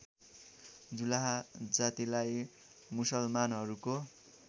जुलाहा जातिलाई मुसलमानहरूको